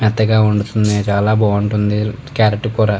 మెత్తగా ఓడుతుంది చాల బాగుంటుంది కార్రోట్ కూర.